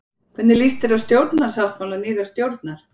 Hvernig líst þér á stjórnarsáttmála nýrrar stjórnar?